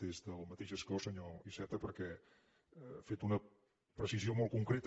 des del mateix escó senyor iceta perquè ha fet una precisió molt concreta